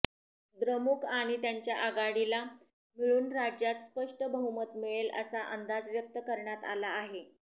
द्रमुक आणि त्यांच्या आघाडीला मिळून राज्यात स्पष्ट बहुमत मिळेल असा अंदाज व्यक्त करण्यात आला आहे